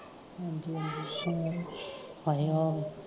ਹਾਏ ਆ